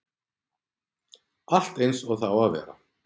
Allt eins og það á að vera.